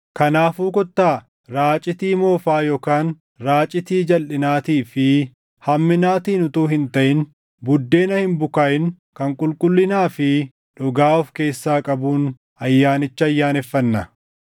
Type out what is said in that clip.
Kanaafuu kottaa raacitii moofaa yookaan raacitii jalʼinaatii fi hamminaatiin utuu hin taʼin Buddeena Hin bukaaʼin kan qulqullinaa fi dhugaa of keessaa qabuun ayyaanicha ayyaaneffannaa.